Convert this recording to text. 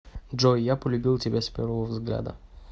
джой я полюбил тебя с первого взгляда